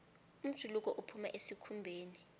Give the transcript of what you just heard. umjuluko uphuma esikhumbeni